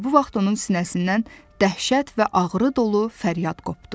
Elə bu vaxt onun sinəsindən dəhşət və ağrı dolu fəryad qopdu.